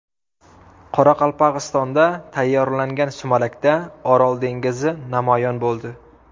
Qoraqalpog‘istonda tayyorlangan sumalakda Orol dengizi namoyon bo‘ldi.